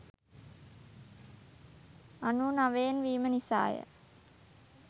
අනූ නවයෙන් වීම නිසාය.